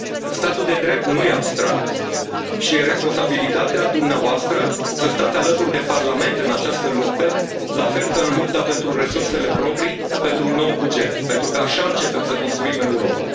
Statul de drept nu este abstract și este responsabilitatea dumneavoastră să stați alături de Parlament în această luptă, la fel ca în lupta pentru resursele proprii, pentru un nou buget, pentru că așa începem să construim Europa.